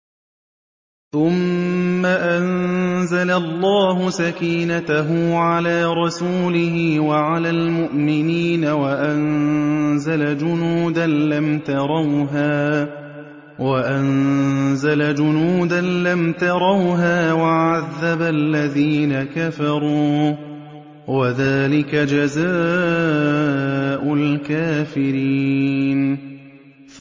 ثُمَّ أَنزَلَ اللَّهُ سَكِينَتَهُ عَلَىٰ رَسُولِهِ وَعَلَى الْمُؤْمِنِينَ وَأَنزَلَ جُنُودًا لَّمْ تَرَوْهَا وَعَذَّبَ الَّذِينَ كَفَرُوا ۚ وَذَٰلِكَ جَزَاءُ الْكَافِرِينَ